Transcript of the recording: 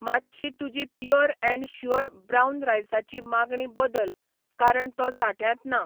मातशी तुजी pure and sure brown रायसाची मागणी बदल कारण तो साठ्यांत ना